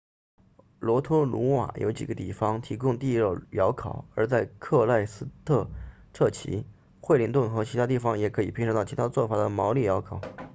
罗托鲁瓦有几个地方提供地热窑烤 hangi 而在克赖斯特彻奇惠灵顿和其他地方也可以品尝到其他做法的毛利窑烤